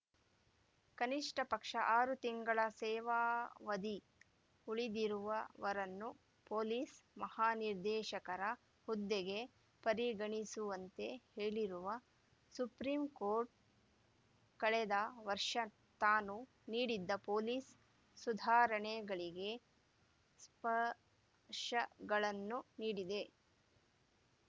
ಕನಿಷ್ಠ ಪಕ್ಷ ಆರು ತಿಂಗಳ ಸೇವಾವಧಿ ಉಳಿದಿರುವವರನ್ನೂ ಪೊಲೀಸ್ ಮಹಾನಿರ್ದೇಶಕರ ಹುದ್ದೆಗೆ ಪರಿಗಣಿಸುವಂತೆ ಹೇಳಿರುವ ಸುಪ್ರೀಂ ಕೋರ್ಟ್ ಕಳೆದ ವರ್ಷ ತಾನು ನೀಡಿದ್ದ ಪೊಲೀಸ್ ಸುಧಾರಣೆಗಳಿಗೆ ಸ್ಪಷ ಗಳನ್ನು ನೀಡಿದೆ